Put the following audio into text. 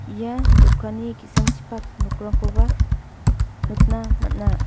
ia dokanni ki·sangchipak nokrangkoba nikna man·a.